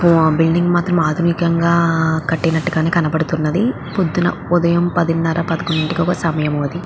Building మాత్రం ఆధునికంగా కట్టినట్టు కనపడుతున్నది. పొద్దున ఉదయం పదిన్నర పదకుండు ఇంటికి సమయం అది --